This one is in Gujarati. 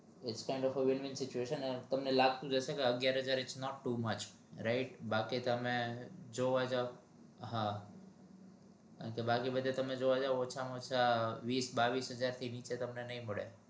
ઓંછા માં ઓંછા અગિયાર